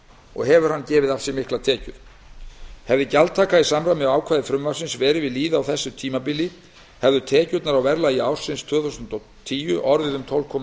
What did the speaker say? og hefur hann gefið af sér miklar tekjur hefði gjaldtaka í samræmi við ákvæði frumvarpsins verið við lýði á þessu tímabili hefðu tekjurnar á verðlagi ársins tvö þúsund og tíu orðið um tólf komma